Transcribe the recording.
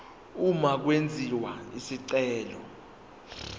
uma kwenziwa isicelo